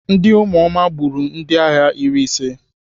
Ndị ụmụoma gbagburu ndịagha iri ise.